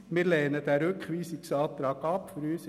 Wir lehnen den Rückweisungsantrag ab.